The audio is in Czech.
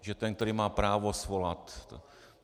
Že ten, který má právo svolat...